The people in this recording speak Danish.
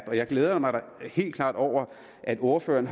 jeg glæder mig da helt klart over at ordføreren